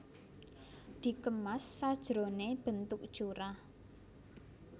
Dikemas sajroné bentuk curah